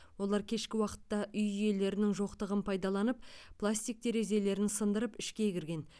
олар кешкі уақытта үй иелерінің жоқтығын пайдаланып пластик терезелерін сындырып ішке кірген